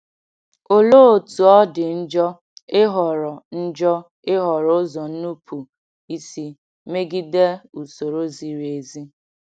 Olee otú ọ dị njọ ịhọrọ njọ ịhọrọ ụzọ nnupụisi megide usoro ziri ezi!